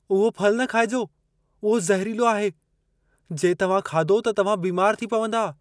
उहो फलु न खाइजो। उहो ज़हरीलो आहे। जे तव्हां खाधो त तव्हां बीमार थी पवंदा।